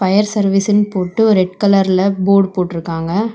Fire சர்வீஸுன் போட்டு ஒரு ரெட் கலர்ல போடு போட்ருக்காங்க.